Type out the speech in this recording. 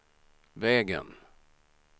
vägen